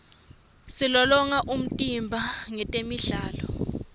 silolonga umtimba ngetemidlalo